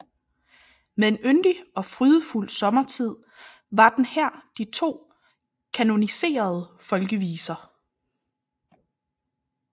Med En yndig og frydefuld sommertid var den her de to kanoniserede folkeviser